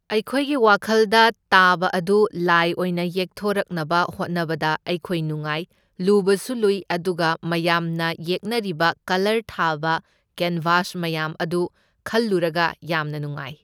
ꯑꯩꯈꯣꯏꯒꯤ ꯋꯥꯈꯜꯗ ꯇꯥꯕ ꯑꯗꯨ ꯂꯥꯏ ꯑꯣꯢꯅ ꯌꯦꯛꯊꯣꯔꯛꯅꯕ ꯍꯣꯠꯅꯕꯗ ꯑꯩꯈꯣꯏ ꯅꯨꯡꯉꯥꯏ, ꯂꯨꯕꯁꯨ ꯂꯨꯏ ꯑꯗꯨꯒ ꯃꯌꯥꯝꯅ ꯌꯦꯛꯅꯔꯤꯕ ꯀꯂꯔ ꯊꯥꯕ ꯀꯦꯟꯕꯥꯁ ꯃꯌꯥꯝ ꯑꯗꯨ ꯈꯜꯂꯨꯔꯒ ꯌꯥꯝꯅ ꯅꯨꯡꯉꯥꯏ꯫